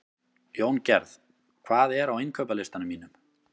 Jóngerð, hvað er á innkaupalistanum mínum?